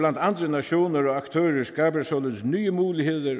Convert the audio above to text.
andre nationer og aktører skaber således nye muligheder